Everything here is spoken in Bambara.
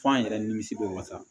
F'an yɛrɛ nimisi bɛ wasa